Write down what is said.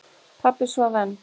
Pabbi svaf enn.